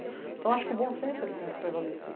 Então, acho que o bom senso, ele tem que prevalecer.